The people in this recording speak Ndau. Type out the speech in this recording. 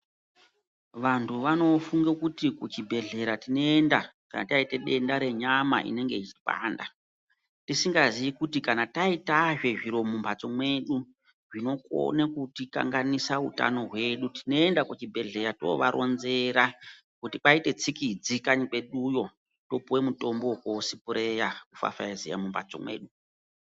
Vanhu vanofunga kuti kuchibhedhlera tinoenda kana taita denda renyama inenge yechipanda tisingaziyi kuti kana taita zve uti zviro mumhatso mwedu zvinokone kutikanganisa utano hwedu tinoenda kuchibhedhlera toovaronzera kuti kwaite tsikidzi kanyi kweduyo topuwa mutombo wokosipireya kupfapfaizeya mumhatso dzedu.